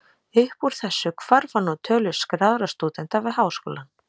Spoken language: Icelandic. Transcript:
Upp úr þessu hvarf hann úr tölu skráðra stúdenta við háskólann.